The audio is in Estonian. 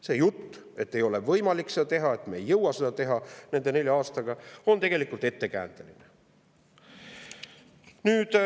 See jutt, et ei ole võimalik seda teha, et me ei jõua seda teha nende nelja aastaga, on tegelikult olnud ettekääne.